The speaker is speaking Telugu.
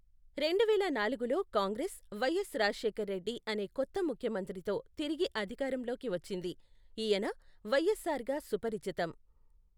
రెండువేల నాలుగులో కాంగ్రెస్, వై ఎస్ రాజశేఖరరెడ్డి అనే కొత్త ముఖ్యమంత్రితో తిరిగి అధికారంలోకి వచ్చింది, ఈయన వై ఎస్ ఆర్ గా సుపరిచితం.